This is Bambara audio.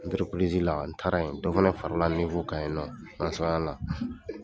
la an taara yen dɔ fana farala kan yennɔ an sɔrɔ